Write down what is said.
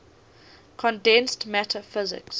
condensed matter physics